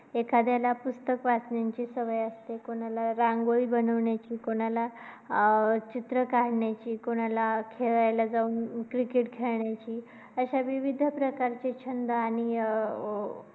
एखाद्याला पुस्तक वाचण्याचे सवय असते. कोणाला रांगोळी बनवण्याची, कोणाला चित्र काढण्याची, कोणाला खेळायला जाऊन cricket खेळण्याची असे विविध प्रकारचे छंद आणि अं